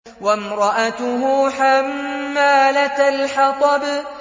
وَامْرَأَتُهُ حَمَّالَةَ الْحَطَبِ